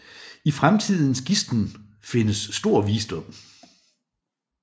I fremtidens gisnen findes stor visdom